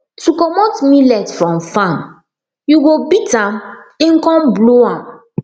to comot millet from farm you go beat am then come blow am